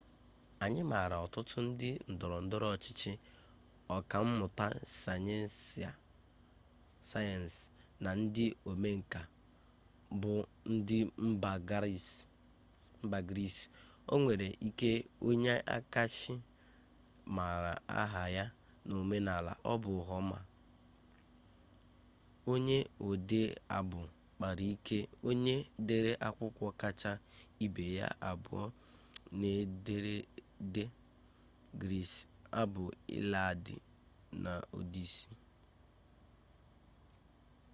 anyị maara ọtụtụ ndị ndọrọ ndọrọ ọchịchị ọka mmụta sayensị na ndị omenka buụ ndị mba gris onwere ike onye akacha mara aha ya n'omenala a bụ homa onye ode abụ kpara ike onye dere akwụkwọ kacha ibe ya abụọ n'ederede gris abụ iliad na odisi